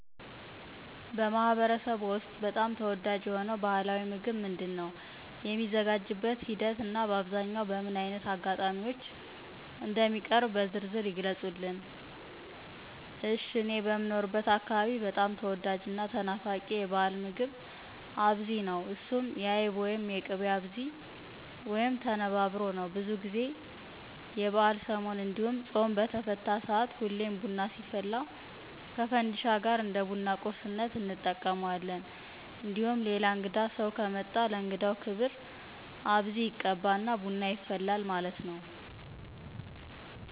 በማኅበረሰብዎ ውስጥ በጣም ተወዳጅ የሆነው ባሕላዊ ምግብ ምንድን ነው? የሚዘጋጅበትን ሂደት እና በአብዛኛው በምን ዓይነት አጋጣሚዎች እንደሚቀርብ በዝርዝር ይግለጹልን አሽ:- እኔ በምኖርበት አካባቢ በጣም ተወዳጅ እና ተናፋቂ የበአል ምግብ አብዚ ነው እሱም የአይብ ወይም የቅቤ አብዚ/ተነባብሮ/ነው። ብዙ ጊዜ የበአልሰሞን እንዲሁም ፆም በተፈታ ሰአት ሁሌም ቡና ሲፈላ ከፈንዲሻ ጋር እንደ ቡና ቁርስነት እንጠቀመዋለን። እንዲሁም ሌላ እንግዳ ሰው ከመጣ ለእንግዳው ክብር አብዚ ይቀባ እና ቡና ይፈላል ማለት ነው።